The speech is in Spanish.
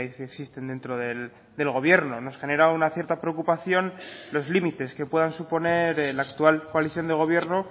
que existen dentro del gobierno nos genera una cierta preocupación los límites que puedan suponer la actual coalición de gobierno